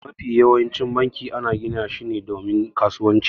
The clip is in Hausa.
Mafi yawancin banki ana gina shi ne domin kasuwanci.